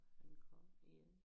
Når han kom igen